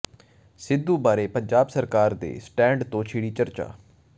ਸਿੱਧੂ ਬਾਰੇ ਪੰਜਾਬ ਸਰਕਾਰ ਦੇ ਸਟੈਂਡ ਤੋਂ ਛਿੜੀ ਚਰਚਾ